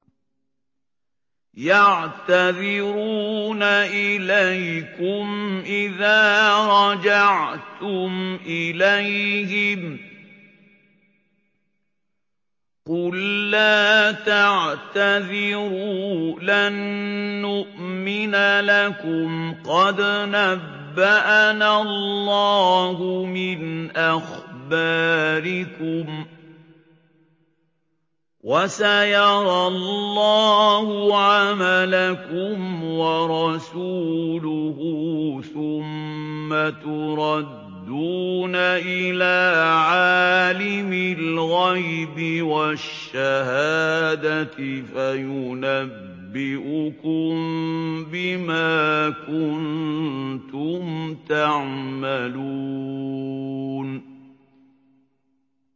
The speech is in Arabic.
يَعْتَذِرُونَ إِلَيْكُمْ إِذَا رَجَعْتُمْ إِلَيْهِمْ ۚ قُل لَّا تَعْتَذِرُوا لَن نُّؤْمِنَ لَكُمْ قَدْ نَبَّأَنَا اللَّهُ مِنْ أَخْبَارِكُمْ ۚ وَسَيَرَى اللَّهُ عَمَلَكُمْ وَرَسُولُهُ ثُمَّ تُرَدُّونَ إِلَىٰ عَالِمِ الْغَيْبِ وَالشَّهَادَةِ فَيُنَبِّئُكُم بِمَا كُنتُمْ تَعْمَلُونَ